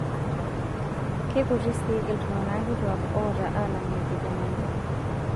Keikuti sii iltungana kituak oota alng' ilkijanani.